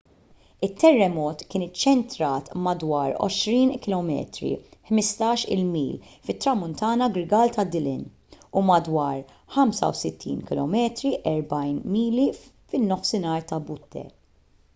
it-terremot kien iċċentrat madwar 20 km 15-il mil fit-tramuntana-grigal ta’ dillon u madwar 65 km 40 mil fin-nofsinhar ta’ butte